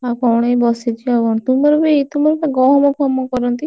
ଆଉ କଣ ଏଇ ବସିଛି ଆଉ କଣ? ତୁମର ବି ତୁମର ବା ଗହମ ଫହମ କରନ୍ତି?